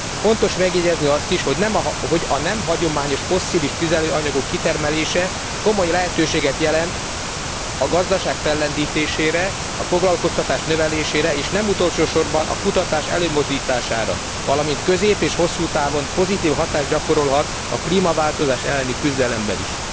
Fontos megjegyezni azt is, hogy a nem hagyományos fosszilis tüzelőanyagok kitermelése komoly lehetőséget jelent a gazdaság fellendítésére, a foglalkoztatás növelésére és nem utolsó sorban a kutatás előmozdítására, valamint közép és hosszú távon pozitív hatást gyakorolhat a klímaváltozás elleni küzdelemben is.